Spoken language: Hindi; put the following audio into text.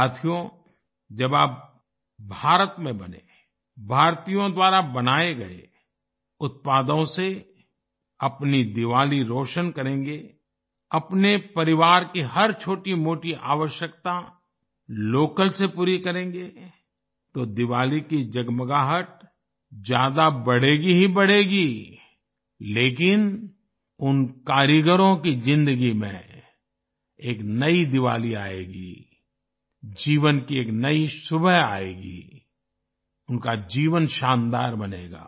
साथियो जब आप भारत में बने भारतीयों द्वारा बनाए गए उत्पादों से अपनी दीवाली रौशन करेंगे अपने परिवार की हर छोटीमोटी आवश्यकता लोकल से पूरी करेंगे तो दीवाली की जगमगाहट और ज़्यादा बढ़ेगी ही बढ़ेगी लेकिन उन कारीगरों की ज़िंदगी में एक नयी दीवाली आयेगी जीवन की एक सुबह आयेगी उनका जीवन शानदार बनेगा